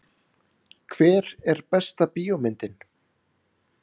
Hver er besta bíómyndin?